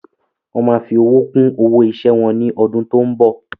Wọn má fi owó kún owó ọ̀yà wá ní ọdún tó ń bọ̀